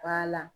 Ba la